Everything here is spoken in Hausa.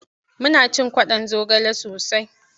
Muna cin kwaɗon zogale sosai.